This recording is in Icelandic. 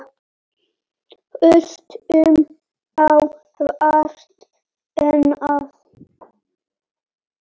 Hlustum á hvort annað.